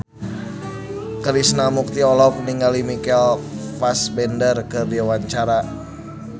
Krishna Mukti olohok ningali Michael Fassbender keur diwawancara